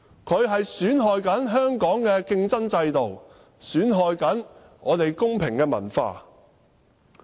她正在損害香港的競爭制度、公平文化。